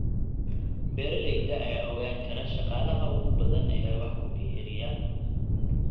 Beeralayda ayaa ogaan kara shaqaalaha ugu badan ee wax ku biiriya.